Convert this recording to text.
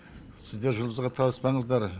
сіздер жұлдызға таласпаңыздар